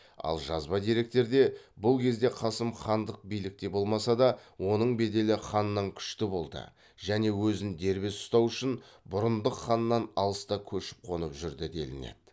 ал жазба деректерде бұл кезде қасым хандық билікте болмаса да оның беделі ханнан күшті болды және өзін дербес ұстау үшін бұрындық ханнан алыста көшіп қонып жүрді делінеді